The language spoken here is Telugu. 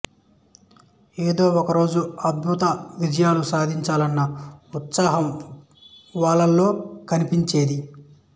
ఏదో ఒకరోజు అత్యద్భుత విజయాలు సాధించాలన్న ఉత్సాహం వాళ్లలిో కనిపించేది